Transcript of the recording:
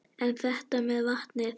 En þetta með vatnið?